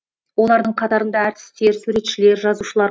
олардың қатарында әртістер суретшілер жазушылар